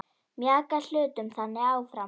Mjaka hlutum þannig áfram.